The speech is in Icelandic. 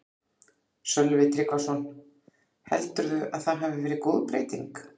Sölvi Tryggvason: Heldurðu að það hafi verið góð breyting?